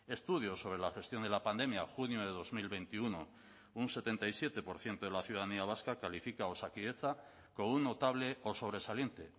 estudio sobre la gestión de la pandemia junio de dos mil veintiuno un setenta y siete por ciento de la ciudadanía vasca califica a osakidetza con un notable o sobresaliente